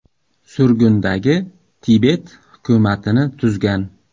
Surgundagi Tibet hukumatini tuzgan.